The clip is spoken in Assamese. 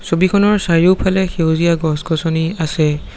ছবিখনৰ চাৰিওফালে সেউজীয়া গছ গছনি আছে।